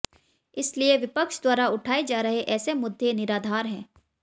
इसलिए विपक्ष द्वारा उठाए जा रहे ऐसे मुद्दे निराधार हैं